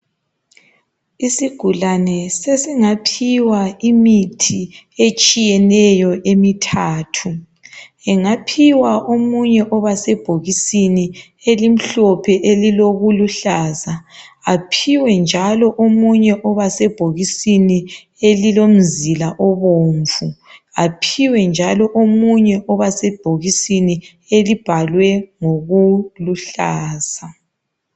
Isigulane sesingaphiws imithi etshiyetshiyeneyo emithathu engaphiwa imithi esebhokisini elimhlophe elilokuluhlaza aphiwe njalo elisebhokisini elilomzila obomvu aphiwe njalo oba sebhokisini elibhalwe ngokuluhlaza